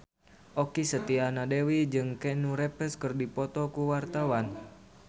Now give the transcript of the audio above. Okky Setiana Dewi jeung Keanu Reeves keur dipoto ku wartawan